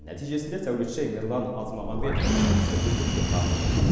нәтижесінде сәулетші мирлан азмағамбетовтың жұмысы үздік деп танылды